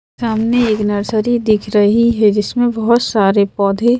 सामने एक नर्सरी दिख रही है जिसमें बहुत सारे पौधे--